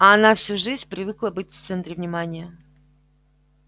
а она всю жизнь привыкла быть в центре внимания